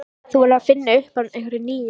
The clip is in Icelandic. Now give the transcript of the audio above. Þú verður að finna upp á einhverju nýju.